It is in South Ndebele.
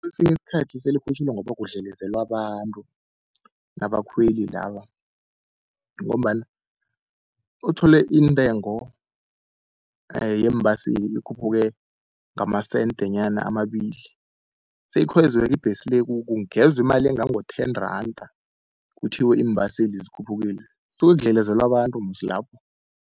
Kesinye isikhathi sele ikhutjhulwa ngoba kudlelezelwa abantu nabakhweli laba, ngombana uthole intengo yeembaseli ikhuphuke ngamasentenyana amabili seyikhwezwe-ke ibhesi le kungezwe imali engango-ten randa, kuthiwe iimbaseli zikhuphukile. Kusuke kudlelezelwa abantu musi lapho.